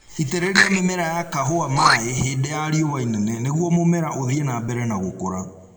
Itĩrĩria mĩmera ya kahũa maĩĩ hĩndĩ ya riũa inene nĩguo mũmera ũthie na mbere na gũkũra